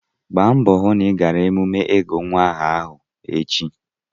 Gbaa mbọ hụ na ị gara emume ịgụ nwa aha ahụ echi!